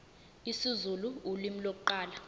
isizulu ulimi lokuqala